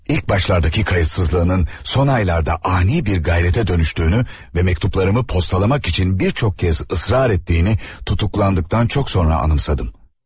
İlk başlardakı qayıtsızlığının son aylarda ani bir qeyrətə dönüştüyünü və məktublarımı postalamak üçün bir çox kəz ısrar etdiyini tutuklandıqdan çox sonra anımsadım.